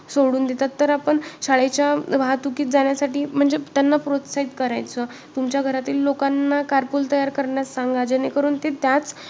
घडण हे कशे झालेले आहे व मनामध्ये कोणते गुण आहेत हे सर्व सांगितलेले आहेत सृष्टी उत्पत्ती बद्दल या विषयामधे माहिती दिलेली आहे.